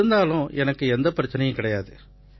இருந்தாலும் எனக்கு எந்தப் பிரச்சனையும் கிடையாது